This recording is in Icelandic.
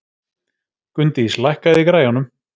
Gunndís, lækkaðu í græjunum.